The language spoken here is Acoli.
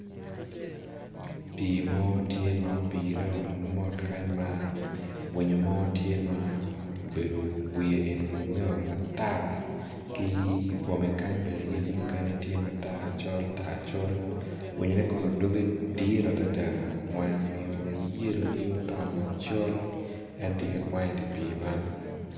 Pi mo tye ma opire o mot kany ma, winyo mo tye m a obedo wiye olunge o matar ki i bwome kany bene yece mukene tye matar col tar col, winyo ne kono doge dit adada wange omiyo mayellow gi otongo macol en tye ka kwango i di pi man.